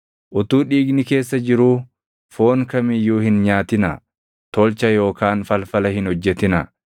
“ ‘Utuu dhiigni keessa jiruu foon kam iyyuu hin nyaatinaa. “ ‘Tolcha yookaan falfala hin hojjetinaa.